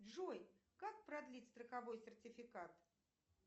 джой как продлить страховой сертификат